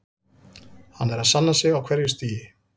Hann er að sanna sig á hverju stigi.